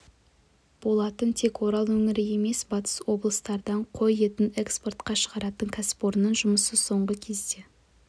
болатын тек орал өңірі емес батыс облыстардан қой етін экспортқа шығаратын кәсіпорынның жұмысы соңғы кезде